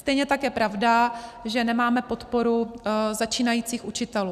Stejně tak je pravda, že nemáme podporu začínajících učitelů.